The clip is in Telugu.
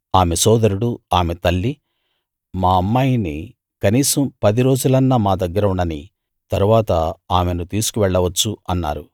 ఆమె సోదరుడూ ఆమె తల్లీ మా అమ్మాయిని కనీసం పది రోజులన్నా మా దగ్గర ఉండనీయి తరువాత ఆమెను తీసుకు వెళ్ళవచ్చు అన్నారు